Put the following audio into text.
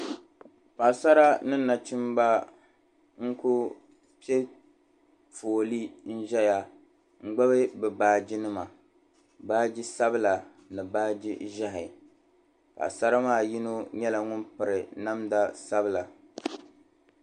paɣasara ni nachimba n ku pe fooli n ʒiya n gbubi bi' baaji nima baaji sabili ni baaji ʒehi paɣasara maa puuni yino nye ŋun piri namda sabila